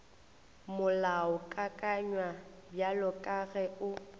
molaokakanywa bjalo ka ge o